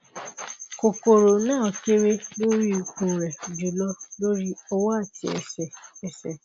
kokoro na kere lori ikun re julo lori owo ati ese ese